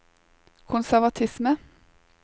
konservatisme